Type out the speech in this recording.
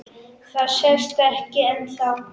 Það sést ekki ennþá.